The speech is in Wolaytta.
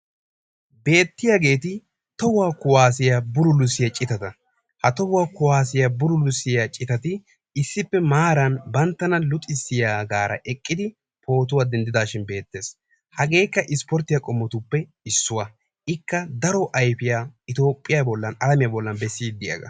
Beettiyaageeti tohuwa kuassiya bullulissiyaa citata, ha tohuwa kuwassiya bullulissiya citati issippe maaran banttana luxissiyaaga eqqidi pootuwa denddidhin be'eettees. Hagekka ispporttiya qommotuppe issuwa. Ikka daro ayfiyaa Itoophiya bollan alamiya bollan besside diyaaga.